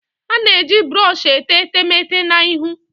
A na-eji brọsh etee etemeete na ihu